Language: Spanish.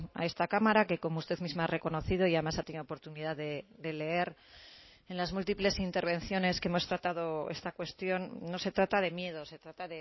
a esta cámara que como usted misma ha reconocido y además ha tenido oportunidad de leer en las múltiples intervenciones que hemos tratado esta cuestión no se trata de miedo se trata